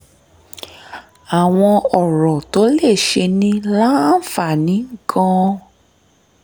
àwọn ọ̀rọ̀ tó lè ṣe ni láǹfààní gan-an